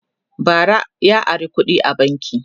bara ya Ara kuɗi a banki